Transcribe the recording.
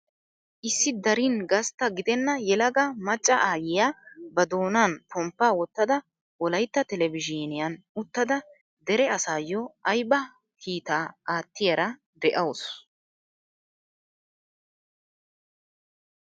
Issi darin gastta gidenna yelaga macca aayiyaa ba doonan pomppaa wottada wolaytta telebizhiniyaan uttada dere asaayoo ayba kiittaa aattiyaara de'awus.